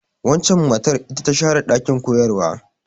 Waccan matar ita ta share ɗakin koyarwa.